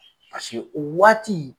Paseke o waati